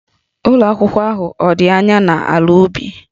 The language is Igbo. Ụlọ akwụkwọ ahụ ọ̀ dị anya n'ala ubi?